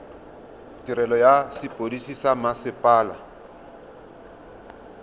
tirelo ya sepodisi sa mmasepala